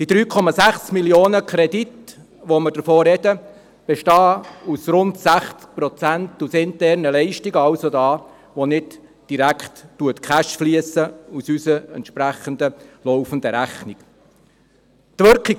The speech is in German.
Die 3,6 Mio. Franken Kredit, von denen wir sprechen, bestehen zu rund 60 Prozent aus internen Leistungen, also solchen, wo nicht direkt Cash aus unserer entsprechenden Laufenden Rechnung fliesst.